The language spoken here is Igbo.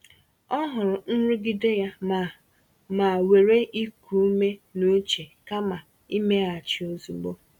Ọ hụrụ nrụgide ya ma ma were iku ume n’uche kama imeghachi ozugbo.